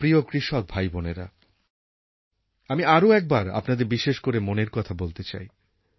আমার প্রিয় কৃষক ভাইবোনেরা আমি আরও একবার আপনাদের বিশেষ করে মনের কথা বলতে চাই